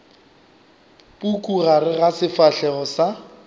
puku gare ga sefahlego sa